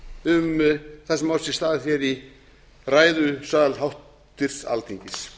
um það sem á sér stað í ræðusal háttvirtur alþingis